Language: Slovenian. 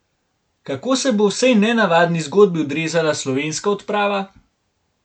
Kako se bo v vsej nenavadni zgodbi odrezala slovenska odprava?